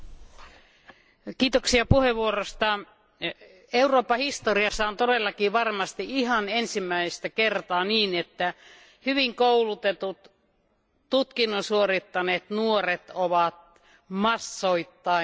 Arvoisa puhemies, Euroopan historiassa on todellakin varmasti ihan ensimmäistä kertaa niin, että hyvin koulutetut, tutkinnon suorittaneet nuoret ovat massoittain työttöminä.